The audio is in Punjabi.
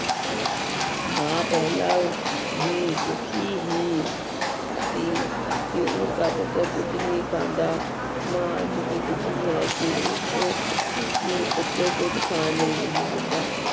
ਮਾਂ ਪਹਿਲਾਂ ਵੀ ਦੁੱਖੀ ਹੀ ਸੀ ਕਿ ਉਸਦਾ ਪੁੱਤਰ ਕੁੱਝ ਨਹੀਂ ਖਾਂਦਾ ਮਾਂ ਅੱਜ ਵੀ ਦੁੱਖੀ ਹੈ ਕਿ ਉਸ ਕਿ ਪੁੱਤਰ ਕੁੱਝ ਖਾਣ ਨੂੰ ਨਹੀਂ ਦਿੰਦਾ।